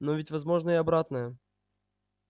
но ведь возможно и обратное